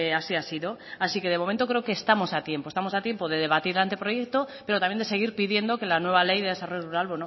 así ha sido así que de momento creo que estamos a tiempo estamos a tiempo de debatir el anteproyecto pero también de seguir pidiendo que la nueva ley de desarrollo rural